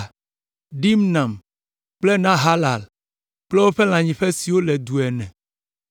Dimna kple Nahalal kple woƒe lãnyiƒewo siwo nye du ene.